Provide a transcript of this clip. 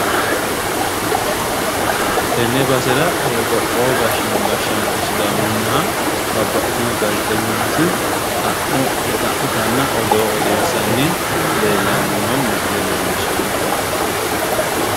Tenne basera qoqowo gashino gashaancho sidaamunniha babbaxitino gaazeexenyoti xa'mo xa'mittanna odoo odeessanni leellanni noo misille leelishano tinni.